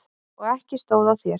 Og ekki stóð á þér!